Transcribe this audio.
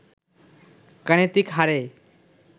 গাণিতিক হারে